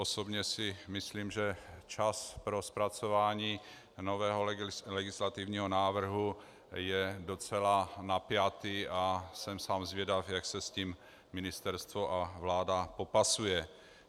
Osobně si myslím, že čas pro zpracování nového legislativního návrhu je docela napjatý a jsem sám zvědav, jak se s tím ministerstvo a vláda popasují.